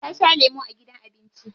Ta sha lemu a gidan abinci.